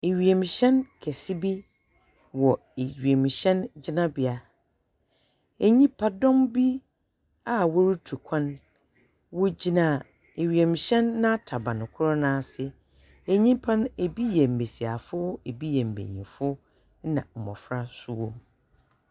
Ewiemuhyɛn kɛse bi wɔ ewiemuhyɛn gyinabea. Nnyipadɔm bi a wɔretu kwan egyina ewiemuhyɛn n'ataban kor nase. Enyipa no ebi yɛ mmanyinfo, ebi yɛ mmesiafo na mmɔfra so wom.